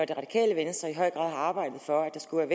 det radikale venstre i høj grad har arbejdet for at der skulle